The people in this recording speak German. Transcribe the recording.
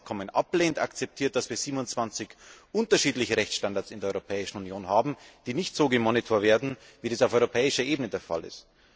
Wer dieses Abkommen ablehnt, akzeptiert, dass wir 27 unterschiedliche Rechtsstandards in der Europäischen Union haben, die nicht so überwacht werden, wie dies auf europäischer Ebene der Fall ist.